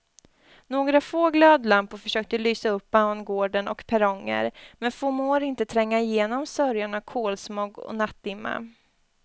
Några få glödlampor försöker lysa upp bangård och perronger men förmår inte tränga igenom sörjan av kolsmog och nattdimma.